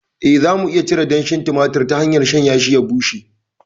Eh, za mu iya cire danshin tumatir ta hanyar shanyashi ya bushe.